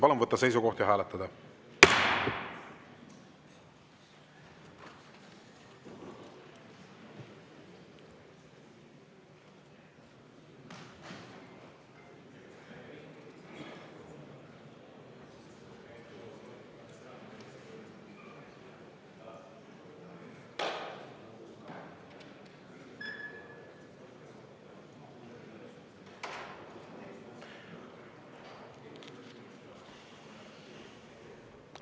Palun võtta seisukoht ja hääletada!